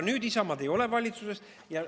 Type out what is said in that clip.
Nüüd Isamaad enam valitsuses ei ole.